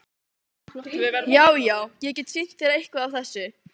Já, já- ég get sýnt þér eitthvað af þessu.